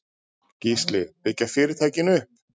Gísli: Byggja fyrirtækin upp?